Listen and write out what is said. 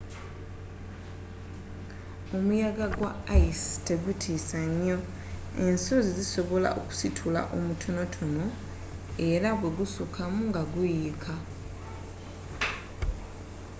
omuyaga gwa ayisi tegutiisa nnyo ensozi zisobola kusitula mutonotono era bwe gusukkamu nga guyiika